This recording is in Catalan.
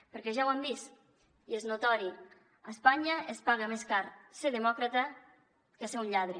perquè ja ho han vist i és notori a espanya es paga més car ser demòcrata que ser un lladre